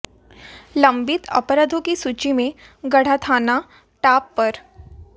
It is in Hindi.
लंबित अपराधों की सूची में गढ़ा थाना टॉप पर